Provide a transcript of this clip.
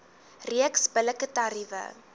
reeks billike tariewe